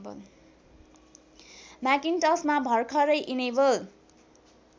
म्याकिन्टसमा भरखरै इनेबल